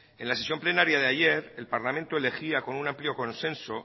en la sesión plenaria de ayer el parlamento elegía con un amplio consenso